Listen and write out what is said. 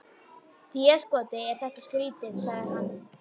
Déskoti er þetta skrýtið, sagði hann.